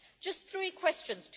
Just three questions.